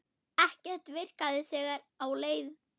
Ekkert virkaði þegar á leið.